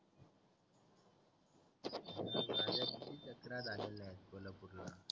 जत्रा झाली नाय कोल्हापूर ला